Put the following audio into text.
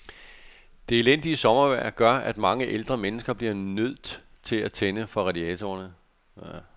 Det elendige sommervejr gør, at mange ældre mennesker bliver nødt til at tænde radiatorerne.